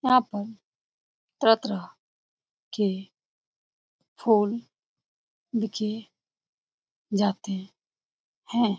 यहाँ पर तरह-तरह के फूल बिके जाते हैं ।